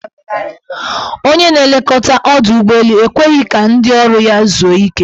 Onye na-elekọta ọdọụgbọelu ekweghi ka ndị ọrụ ya zuo ike.